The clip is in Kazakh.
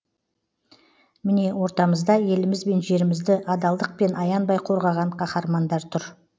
міне ортамызда еліміз бен жерімізді адалдықпен аянбай қорғаған қаһармандар тұр